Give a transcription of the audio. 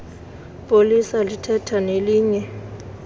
polisa lithetha nelinye